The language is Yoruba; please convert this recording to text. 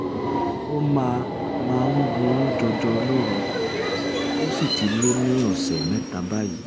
ó máa máa ń um buruú jọjọ lóru ó sì ti lé ní ọ̀sẹ̀ mẹ́ta báyìí